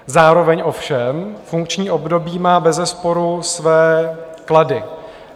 Zároveň ovšem funkční období má bezesporu své klady.